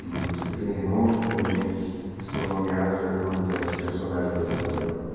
E você tem irmãos que também são nomeados de acordo com esses personagens dessa novela?